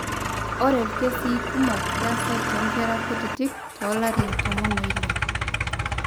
ore irkesii kumok keasa toonkera kutitik toolarin tomon oile.